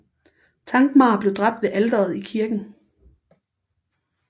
Thankmar blev dræbt ved alteret i kirken